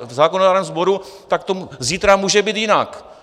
v zákonodárném sboru, tak to zítra může být jinak.